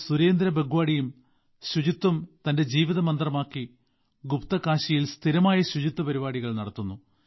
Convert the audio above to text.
സുരേന്ദ്ര ബാഗ്വാടിയും ശുചിത്വം തന്റെ ജീവിത മന്ത്രമാക്കി ഗുപ്ത്കാശിയിൽ സ്ഥിരമായി ശുചിത്വ പരിപാടികൾ നടത്തുന്നു